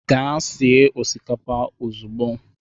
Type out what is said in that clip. Gaa sie osikapa ozugbo.